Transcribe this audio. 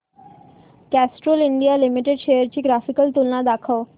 Castrol India limited shares ची graphical तुलना दाखव